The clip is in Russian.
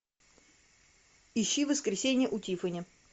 ищи воскресенья у тиффани